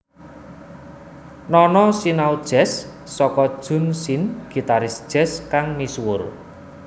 Nono sinau jazz saka Jun Sen gitaris jazz kang misuwur